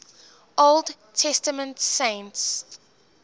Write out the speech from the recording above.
old testament saints